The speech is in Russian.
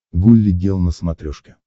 гулли гел на смотрешке